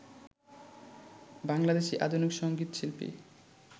বাংলাদেশী আধুনিক সঙ্গীত শিল্পী